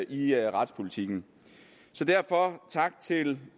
i retspolitikken så derfor tak til